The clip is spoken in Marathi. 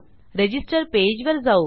रजिस्टर पेजवर जाऊ